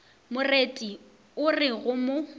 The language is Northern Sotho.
moreti o re go mo